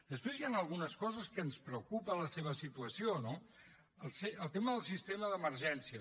després hi han algunes coses que ens preocupa la seva situació no el tema del sistema d’emergències